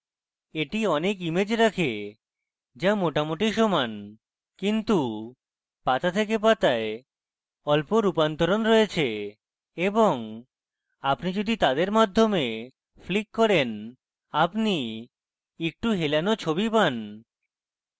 এটি অনেক ইমেজ রাখে যা মোটামুটি সমান কিন্তু পাতা থেকে পাতায় অল্প রূপান্তরণ রয়েছে এবং আপনি যদি তাদের মাধ্যমে flick করেন আপনি একটু হেলোনো ছবি page